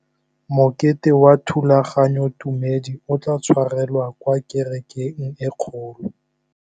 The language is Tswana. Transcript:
Mokete wa thulaganyôtumêdi o tla tshwarelwa kwa kerekeng e kgolo.